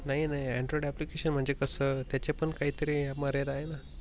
नाही नाही Android application म्हणजे कस त्याची पण काही तरी मर्यादाआहे ना.